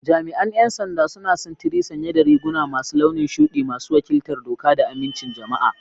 Jami'an 'yan sanda suna sintiri sanye da riguna masu launin shudi, masu wakiltar doka da amincin jama'a.